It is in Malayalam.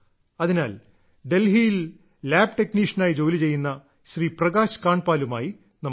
അതിനാൽ ഡൽഹിയിൽ ലാബ് ടെക്നീഷ്യനായി ജോലി ചെയ്യുന്ന ശ്രീ പ്രകാശ് കാണ്ട്പാലുമായി നമുക്ക് സംസാരിക്കാം